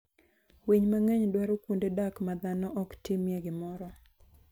Winy mang'eny dwaro kuonde dak ma dhano ok timie gimoro.